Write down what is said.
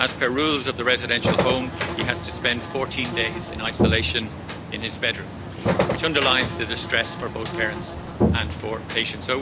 As per rules of the residential home, he has to spend 14 days in isolation in his bedroom', which underlines the distress for both parents and for patients.